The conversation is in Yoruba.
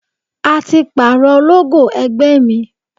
A ti parọ logo ẹgbẹ́ mi.